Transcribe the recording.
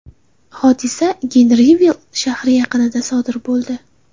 Hodisa Genrivill shahri yaqinida sodir bo‘ldi.